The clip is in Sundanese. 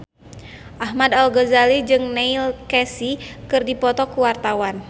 Ahmad Al-Ghazali jeung Neil Casey keur dipoto ku wartawan